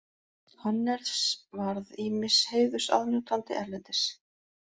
Hannes varð ýmiss heiðurs aðnjótandi erlendis.